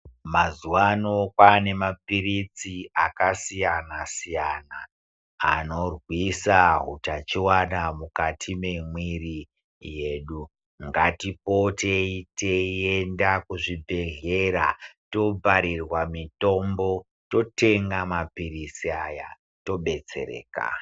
Mazuva ano kwane mapiritsi akasiyana siyana anobvusa hitachiona mukati memwiri yedu ngatiendei teienda kuzvibhedhlera Tobharurwa mitombo totenga mapirizi aya todetsereka.